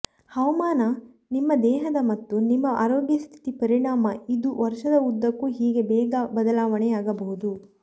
ಹವಾಮಾನ ನಿಮ್ಮ ದೇಹದ ಮತ್ತು ನಿಮ್ಮ ಆರೋಗ್ಯ ಸ್ಥಿತಿ ಪರಿಣಾಮ ಇದು ವರ್ಷದ ಉದ್ದಕ್ಕೂ ಹೀಗೆ ಬೇಗ ಬದಲಾವಣೆಯಾಗಬಹುದು